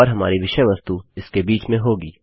और हमारी विषय वस्तु इसके बीच में होगी